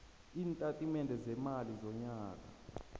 iintatimende zeemali zonyaka